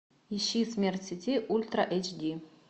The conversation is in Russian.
ищи смерть в сети ультра эйч ди